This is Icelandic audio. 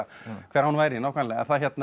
hver hán væri nákvæmlega